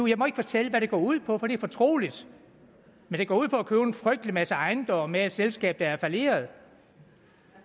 jeg må ikke fortælle hvad det går ud på for det er fortroligt men det går ud på at købe en frygtelig masse ejendomme af et selskab der er falleret